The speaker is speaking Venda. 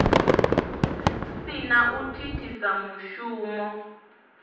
si na u thithisa mushumo